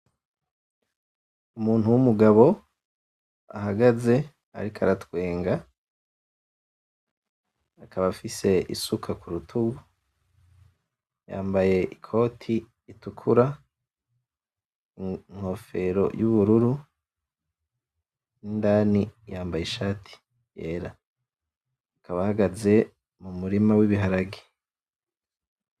Umuntu wumugabo ahagaze ariko aratwenga akaba afise isuka kurutugu yambaye ikoti itukura inkofero y'ubururu indani yambaye ishati yera akaba ahagaze m'umurima w'ibiharage.